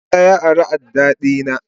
Musa ya ari adda dina.